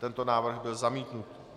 Tento návrh byl zamítnut.